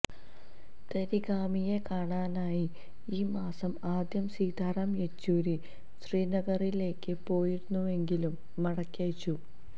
തരിഗാമിയെ കാണാനായി ഈ മാസം ആദ്യം സീതാറാം യെച്ചൂരി ശ്രീനഗറിലേക്ക് പോയിരുന്നുവെങ്കിലും മടക്കി അയച്ചു